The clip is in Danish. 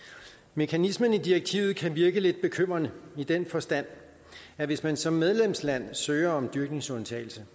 mekanismen i direktivet kan virke lidt bekymrende i den forstand at hvis man som medlemsland søger om dyrkningsundtagelse